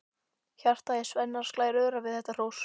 Hjartað í Svenna slær örar við þetta hrós.